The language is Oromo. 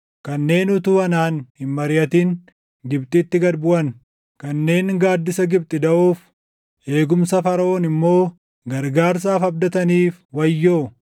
kanneen utuu anaan hin mariʼatin Gibxitti gad buʼan, kanneen gaaddisa Gibxi daʼoof, eegumsa Faraʼoon immoo gargaarsaaf abdataniif wayyoo.